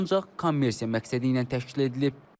Ancaq kommersiya məqsədi ilə təşkil edilib.